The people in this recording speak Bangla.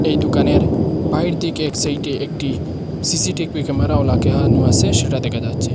এই দুকানের বাহির দিকে এক সাইডে একটি সি_সি_টি_পি ক্যামেরাও লাগানো আসে সেটা দেখা যাচ্ছে।